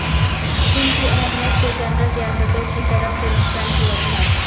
ان کی اہمیت کے جنرل ریاستوں کی طرف سے نقصان کی وجوہات